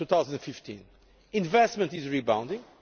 2015. Investment is rebounding.